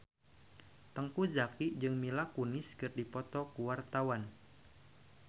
Teuku Zacky jeung Mila Kunis keur dipoto ku wartawan